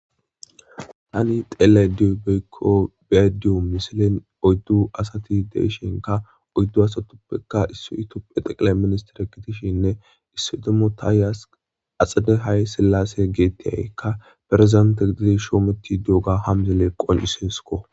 Tani teela diobeykko beadiyo misilen oyddu asati deishinka oyddu asatuppeka issu tophe xeqile ministere gidishinne issidomotaayas axade hay sillase geettiyaykka ferzente gididi shoometi duoga hamzele qonciseesko;